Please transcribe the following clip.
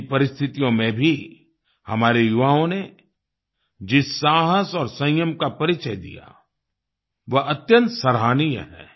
इन परिस्थितियों में भी हमारे युवाओं ने जिस साहस और संयम का परिचय दिया वह अत्यंत सराहनीय है